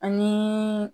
Ani